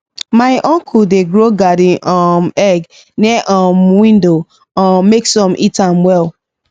my uncle dey grow garden um egg near um window um make sun hit am well